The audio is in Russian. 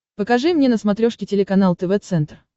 покажи мне на смотрешке телеканал тв центр